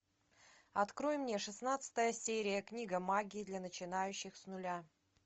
открой мне шестнадцатая серия книга магии для начинающих с нуля